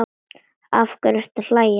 Af hverju ertu að hlæja?